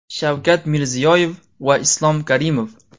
Shavkat Mirziyoyev va Islom Karimov.